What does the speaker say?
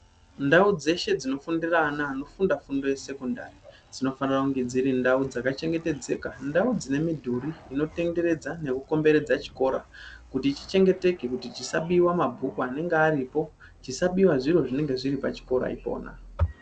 Ndau dzeshe dzinofundira ana anofunda esekondari, dzinofanira kunge dziri ndau dzakachengeteka, ndau dzinemidhuru inotenderedza nekukomberedza chikora. Kuti chichengeteke kuti chisabiwa mabhuku anenge aripo, chisabiwa zviro zvinenge zviripachikora ipona.